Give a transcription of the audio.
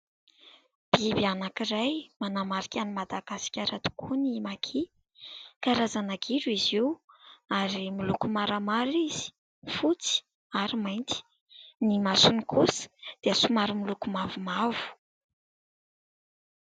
Biby anankiray manamarika an'i Madagasikara tokoa ny maki. Karazana gidro izy io ary miloko maramara izy, fotsy ary mainty. Ny masony kosa dia somary miloko mavomavo.